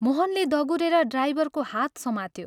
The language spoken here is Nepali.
मोहनले दगुरेर ड्राइभरको हात समात्यो।